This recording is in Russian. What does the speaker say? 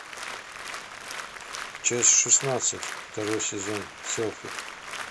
часть шестнадцать второй сезон селфи